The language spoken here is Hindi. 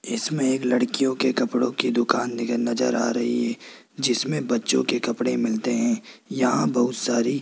इसमें एक लड़कियों के कपड़ों की दुकान दिखे नजर आ रही है जिसमें बच्चों के कपड़े मिलते हैं यहां बहुत सारी।